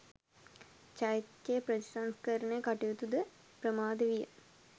චෛත්‍යයේ ප්‍රතිසංස්කරණ කටයුතු ද ප්‍රමාද විය